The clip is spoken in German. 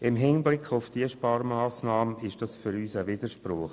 Im Hinblick auf diese Sparmassnahme ist dies für uns ein Widerspruch.